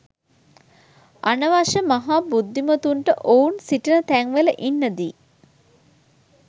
අනවශ්‍ය මහා බුද්ධිමතුන්ට ඔවුන් සිටින තැන්වල ඉන්න දී